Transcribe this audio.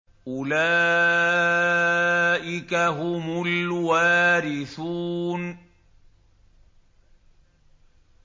أُولَٰئِكَ هُمُ الْوَارِثُونَ